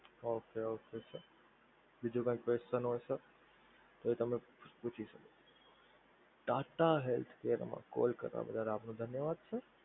okay okay sir બીજુ કઈ question હોય sir તો તમે પૂછી શકો છો. TATA healthcare માં call કરવા બદલ આપનો ધન્યવાદ sir